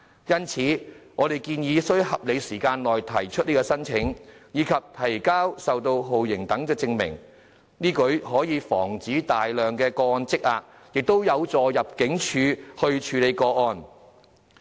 因此，我們建議須在合理時間內提出申請，以及提交受到酷刑等的證明，此舉可以防止大量個案積壓，亦有助入境處處理個案。